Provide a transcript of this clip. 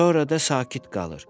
Sonra da sakit qalır.